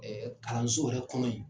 Ɛɛ kalanso yɛrɛ kɔnɔ yen.